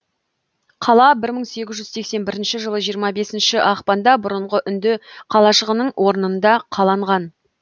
қала бір мың сегіз жүз сексен бірінші жылы жиырма бесінші ақпанда бұрынғы үнді қалашығының орнында қаланған